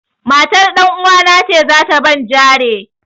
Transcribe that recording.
Matar ɗanuwana ce za ta ban jare.